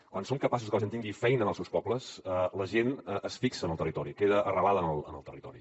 quan som capaços de que la gent tingui feina en els seus pobles la gent es fixa en el territori queda arrelada en el territori